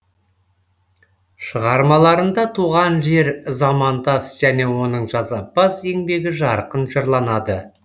шығармаларында туған жер замандас және оның жасампаз еңбегі жарқын жырланады